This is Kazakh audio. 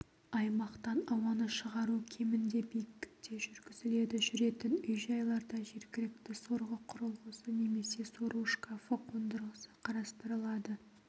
аймақтан ауаны шығару кемінде биіктікте жүргізіледі жүретін үй-жайларда жергілікті сорғы құрылғысы немесе сору шкафы қондырғысы қарастырылады